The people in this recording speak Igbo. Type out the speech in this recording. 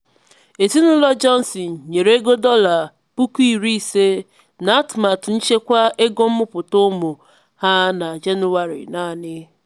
ezinụlọ johnson nyere ego dọla puku iri ise n'atụmatụ nchekwa ego mmụta ụmụ ha na na jenụwarị naanị.